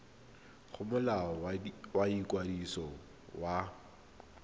go molao wa ikwadiso wa